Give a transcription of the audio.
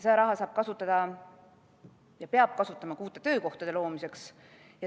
Seda raha saab kasutada ja peab kasutama ka uute töökohtade loomiseks.